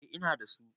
eh Ina da su